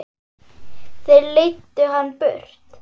Þeir leiddu hann burt.